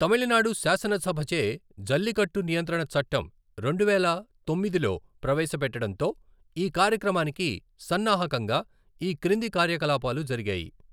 తమిళనాడు శాసనసభచే జల్లికట్టు నియంత్రణ చట్టం, రెండువేల తొమ్మిదిలో ప్రవేశపెట్టడంతో, ఈ కార్యక్రమానికి సన్నాహకంగా ఈ క్రింది కార్యకలాపాలు జరిగాయి.